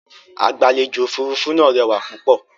Agbàlèjò-òfurufú náà rẹwà púpọ̀.